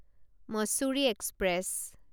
Mussoorie express